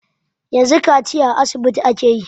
Yanzu kaciya a asibiti ake yi.